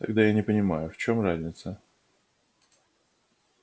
тогда я не понимаю в чем разница